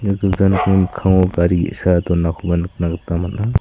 ia gilja nokni mikkango gari ge·sa donakoba nikna gita man·a.